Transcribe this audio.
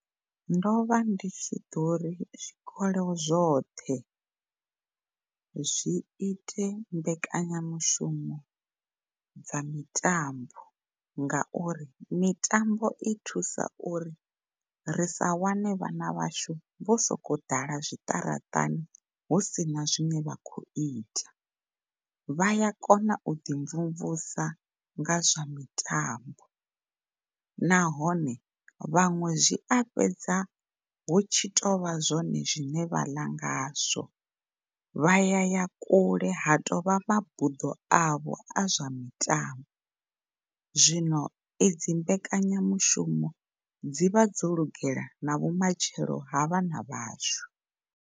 Ndo vha ndi ḓo ri zwikolo zwoṱhe zwi ite mbekanyamushumo dza mitambo ngauri mitambo i thusa uri risa wane vhana vhashu vho sokou ḓala zwiṱaraṱani hu sina zwine vha khou ita. Vha ya kona uḓi mvumvusa ngazwo mitambo nahone vhaṅwe zwi a fhedza hu tshi tou vha zwone zwine vha ḽa ngazwo, vha ya ya kule ha tou vha mabuḓo avho a zwa mitambo zwino edzi mbekanyamushumo dzivha dzo lugela na vhumatshelo ha vhana vhashu.